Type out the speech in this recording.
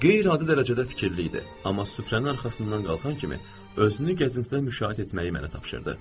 Qeyri-adi dərəcədə fikirli idi, amma süfrənin arxasından qalxan kimi özünü gəzintidə müşayiət etməyi mənə tapşırdı.